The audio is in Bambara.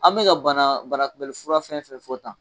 An bɛ ka bana bana kunbɛlifura fɛn fɛn fɔ tan